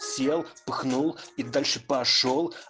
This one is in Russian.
съел пыхнул и дальше пошёл